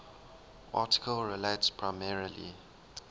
article relates primarily